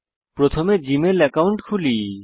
প্রথমে Gmail account খুলি